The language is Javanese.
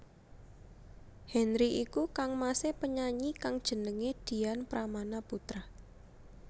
Henry iku kangmasé penyanyi kang jenengé Dian Pramana Putra